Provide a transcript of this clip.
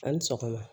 A' ni sɔgɔma